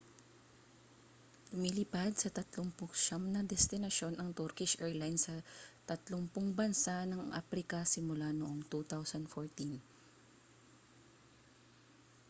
lumilipad sa 39 na destinasyon ang turkish arilines sa 30 bansa ng aprika simula noong 2014